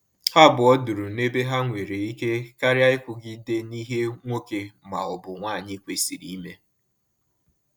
Ha abụọ duru na-ebe ha nwere ike, karịa ikwugide na ihe nwoke ma ọ bụ nwanyi kwesịrị ime